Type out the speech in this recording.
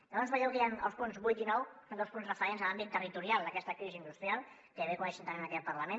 llavors veieu que hi han els punts vuit i nou que són dos punts referents a l’àmbit territorial d’aquesta crisi industrial que bé coneixem també en aquest parlament